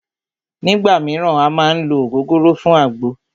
Nígbà míràn à má ń ló ògógóró fún àgbo